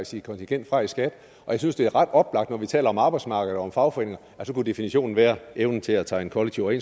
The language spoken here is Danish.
sit kontingent fra i skat og jeg synes det er ret oplagt når vi taler om arbejdsmarkedet og om fagforeninger at så kunne definitionen være evnen til at tegne kollektive